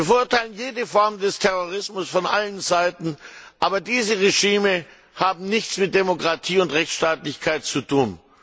Wir verurteilen jede Form des Terrorismus von allen Seiten, aber dieses Regime hat nichts mit Demokratie und Rechtsstaatlichkeit zu tun.